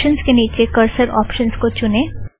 options के नीचे cursor options को चुने